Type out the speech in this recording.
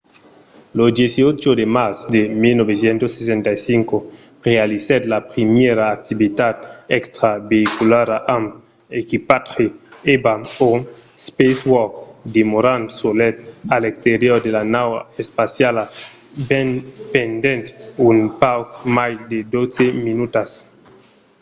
lo 18 de març de 1965 realizèt la primièra activitat extraveïculara amb equipatge eva o spacewalk demorant solet a l'exterior de la nau espaciala pendent un pauc mai de dotze minutas